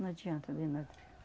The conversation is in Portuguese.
Não adianta de nada.